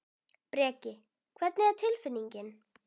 Breki: Hvernig er tilfinningin?